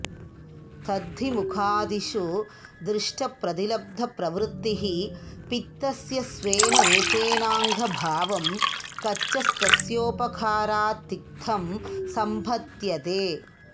तद्धि मुखादिषु दृष्टप्रतिलब्धप्रवृत्तिः पित्तस्य स्वेन रूपेणाङ्गभावं गच्छंस्तस्योपकारात्तिक्तं सम्पद्यते